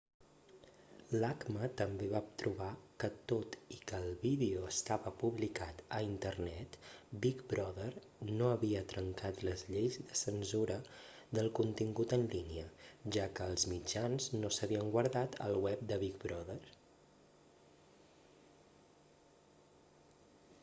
l'acma també va trobar que tot i que el vídeo estava publicat a internet big brother no havia trencat les lleis de censura del contingut en línia ja que els mitjans no s'havien guardat al web de big brother